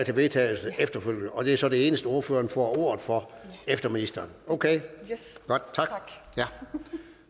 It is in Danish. vedtagelse efterfølgende og det er så det eneste ordføreren får ordet for efter ministeren okay godt tak